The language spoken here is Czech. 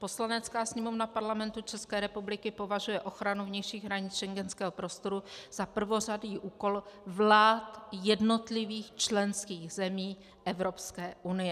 Poslanecká sněmovna Parlamentu České republiky považuje ochranu vnějších hranic schengenského prostoru za prvořadý úkol vlád jednotlivých členských zemí Evropské unie.